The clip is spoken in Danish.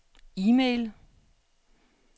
e-mail